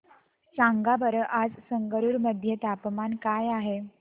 सांगा बरं आज संगरुर मध्ये तापमान काय आहे